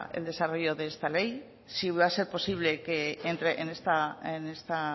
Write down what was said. el desarrollo de esta ley si va a ser posible que entre en esta